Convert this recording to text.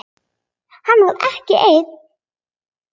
Hann var ekki einn.